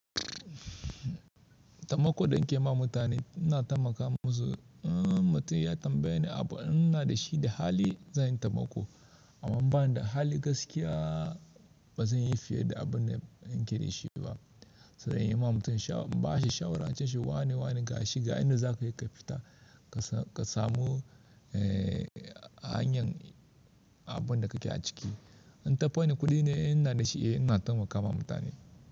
Tabbako da ke ma mutane, ina tabbaka musu. Mutum ya tambaye ni abu in ina da shi da hali zan yi taimako, amma idan ban da hali gaskiya ba zan yi fiye da abun da nake dashi ba. Sai dai ina ma mutum shawara, in ba shi shawara, in ce shi wane wane ga shi, ga inda za ka yi ka fita ka samu hanyar abun da kake a ciki. In tafannin kuɗi ne in ina da shi, eh ina taimakawa mutane.